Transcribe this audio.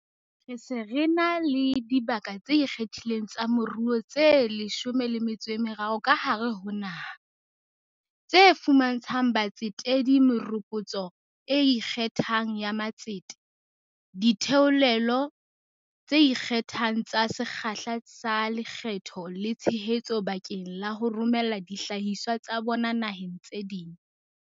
Re se re na le dibaka tse ikgethileng tsa moruo tse 13 ka hare ho naha, tse fuma ntshang batsetedi meropotso e ikgethang ya matsete, ditheolelo tse ikgethang tsa sekgahla sa lekgetho le tshehetso bakeng la ho romela dihlahiswa tsa bona naheng tse ding.